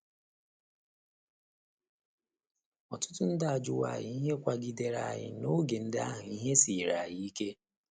Ọtụtụ ndị ajụwo anyị ihe kwagidere anyị n’oge ndị ahụ ihe siiri anyị ike.